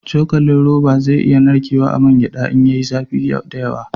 Cokalin roba zai iya narkewa a man gyada in ya yi zafi da yawa